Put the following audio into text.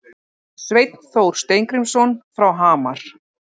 Sveinn Þór Steingrímsson frá Hamar